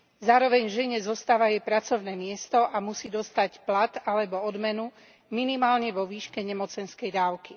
Zároveň žene zostáva jej pracovné miesto a musí dostať plat alebo odmenu minimálne vo výške nemocenskej dávky.